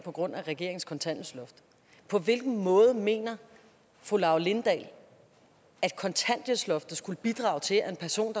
på grund af regeringens kontanthjælpsloft på hvilken måde mener fru laura lindahl at kontanthjælpsloftet skulle bidrage til at en person